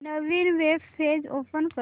नवीन web page open कर